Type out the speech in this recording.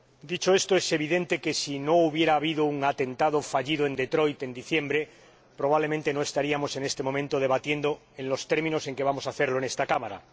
Dicho esto, es evidente que si no hubiera habido un atentado fallido en Detroit en diciembre, probablemente no estaríamos en este momento debatiendo en los términos en que vamos a hacerlo en esta Cámara.